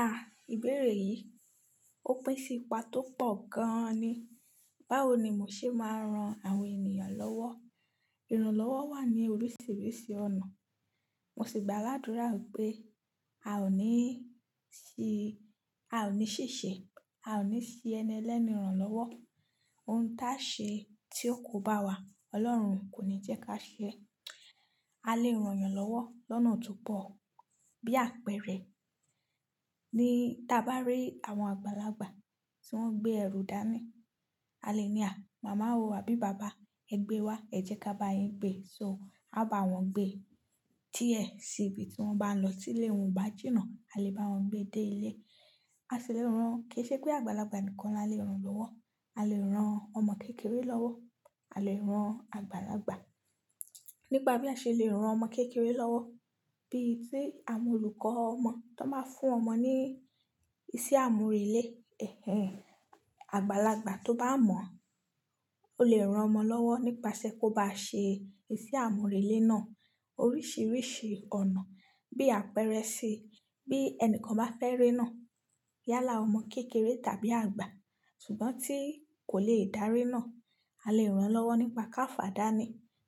A, ìbéèrè yìí, ó pín sí ipa tó pọ̀ gan-an ni. Báwo ni mo ṣe máa ran àwọn ènìyàn lọ́wọ́? Ìrànlọ́wọ́ wà ní oríṣiríṣi ọ̀nà. Mosì gba àládúrà pé a ò ní ṣìṣe, a ò ní ṣi ẹni ẹlẹ́ni ran lọ́wọ́. Ohun táṣe tí ó kò bá wà, Ọlọ́run kò ní jẹ́ káṣe. A lè rán yàn lọ́wọ́ lọ́nà tópọ̀ bí àpẹẹrẹ, ní ta bá rí àwọn àgbàlagbà tí wọ́n gbé ẹrù dání, a lè ní à, "Mama o, àbí Baba, ẹ gbé wá, ẹ jẹ́ kábáyín gbé." So, a bá wọn gbé. Tíẹ sì ibi tí wọ́n bá ń lọ ti ílé, won o ba jina, a lè bá wọn gbé dé ilé. A sì lè rán, kìí ṣepé àgbàlagbà nìkan la lè rán lọ́wọ́. A lè rán ọmọ kékeré lọ́wọ́, a lè rán àgbàlagbà. Nípa bí a ṣe lè rán ọmọ kékeré lọ́wọ́, bí tí àwọn olùkọ́ ọmọ tón bá fún ọmọ ní isẹ́ àmúrelé, ẹhen. Àgbàlagbà tó bá mọ̀, ó lè rán ọmọ lọ́wọ́ nípasẹ̀ kóbá ṣe isẹ́ àmúrelé náà oríṣiríṣi ọ̀nà. Bí àpẹẹrẹ, bí ẹnìkan bá fẹ́ ré náà, yálà ọmọ kékeré tàbí àgbà, ṣùgbọ́n tí kòlè dárenáà, a lè rán lọ́wọ́ nípa káfàdáni.